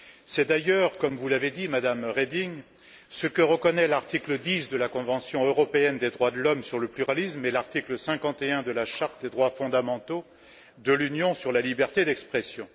C'est d'ailleurs, comme vous l'avez dit, Madame Reding, ce que reconnaît l'article 10 de la Convention européenne des droits de l'homme sur le pluralisme et l'article 51 de la Charte des droits fondamentaux de l'Union sur la liberté d'expression.